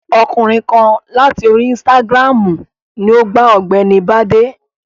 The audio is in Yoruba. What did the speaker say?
Ọkùnrin kan láti orí insitagiramu ni o gba ọ̀gbẹ́ni Bade.